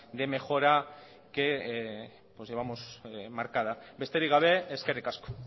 de mejora que llevamos marcada besterik gabe eskerrik asko